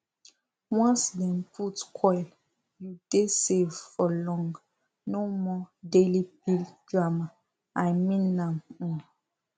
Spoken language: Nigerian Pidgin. once dem put coil u dey safe for long no more daily pill drama i mean am um